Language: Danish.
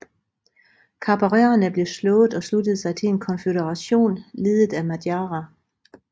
Kabarerne blev slået og sluttede sig til en konføderation ledet af madjarer